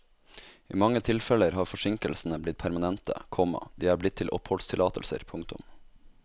I mange tilfeller har forsinkelsene blitt permanente, komma de er blitt til oppholdstillatelser. punktum